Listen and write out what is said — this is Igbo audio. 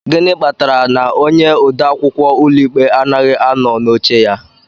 Gịnị kpatara na onye ode akwụkwọ ụlọikpe anoghị anọ n'oche ya?